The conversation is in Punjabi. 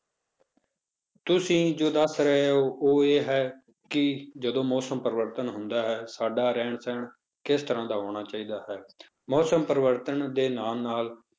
ਤੁਸੀਂ ਜੋ ਦੱਸ ਰਹੇ ਹੋ ਉਹ ਇਹ ਹੈ ਕਿ ਜਦੋਂ ਮੌਸਮ ਪਰਿਵਰਤਨ ਹੁੰਦਾ ਹੈ ਸਾਡਾ ਰਹਿਣ ਸਹਿਣ ਕਿਸ ਤਰ੍ਹਾਂ ਦਾ ਹੋਣਾ ਚਾਹੀਦਾ ਹੈ ਮੌਸਮ ਪਰਿਵਰਤਨ ਦੇ ਨਾਲ ਨਾਲ